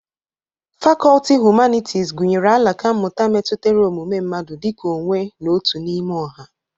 Fakọlti Hụmanịtịz gụnyere alaka mmụta metutere ọmụme mmadụ dị ka onwe na otu n'ime ọha.